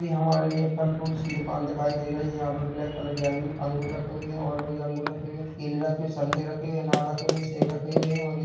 ये हमारे लिए फल फ्रूटस् की दुकान दिखाई दे रही है यहाँ पर ब्लैक कलर की अंगूर-- अंगूर रखे हुये हैं और कोई अंगूर रखे हुए केले रखे हुए है संतरे रखे हुए है अनार रखे हुए है सेब रखे हुए हैं और ये-- ।